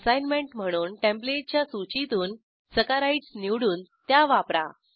assignment म्हणून टेंप्लेटच्या सूचीतून सॅकराइड्स निवडून त्या वापरा